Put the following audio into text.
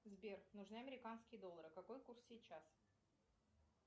сбер нужны американские доллары какой курс сейчас